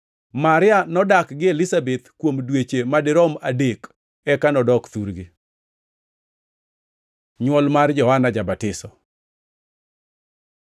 Maria nodak gi Elizabeth kuom dweche madirom adek eka nodok thurgi. Nywol mar Johana ja-Batiso